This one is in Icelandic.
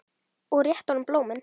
Og rétti honum blómin.